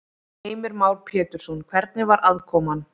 Heimir Már Pétursson: Hvernig var aðkoman?